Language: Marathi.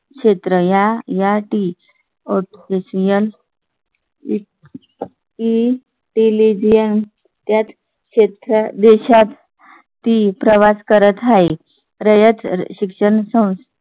क्षेत्र या या टी एशियन. इंटेलिजन्स क्षेत्रात देशात ती प्रवास करत आहे रयत शिक्षण संस्थेची